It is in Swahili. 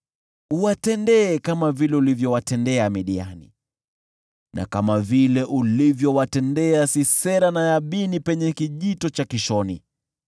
Uwatendee kama vile ulivyowatendea Midiani, na kama vile ulivyowatendea Sisera na Yabini hapo kijito cha Kishoni,